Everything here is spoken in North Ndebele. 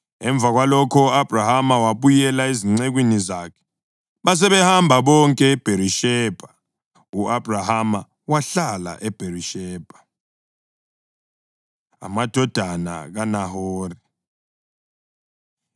Emva kwalokho u-Abhrahama wabuyela ezincekwini zakhe, basebehamba bonke eBherishebha. U-Abhrahama wahlala eBherishebha. Amadodana KaNahori